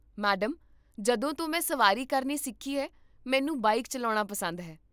madam, ਜਦੋਂ ਤੋਂ ਮੈਂ ਸਵਾਰੀ ਕਰਨੀ ਸਿੱਖੀ ਹੈ, ਮੈਨੂੰ ਬਾਈਕ ਚੱਲਾਉਣਾ ਪਸੰਦ ਹੈ